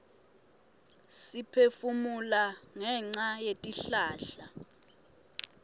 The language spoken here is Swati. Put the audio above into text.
siphefumula ngenca yetihlahla